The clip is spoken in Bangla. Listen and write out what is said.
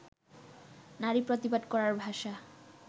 নারী প্রতিবাদ করার ভাষা